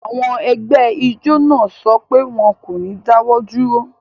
Àwọn ẹgbẹ́ ijọ naa sọ pé wọn kò ní dáwọ̀ dúró